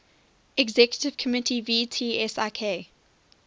executive committee vtsik